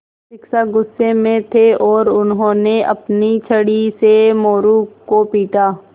शिक्षक गुस्से में थे और उन्होंने अपनी छड़ी से मोरू को पीटा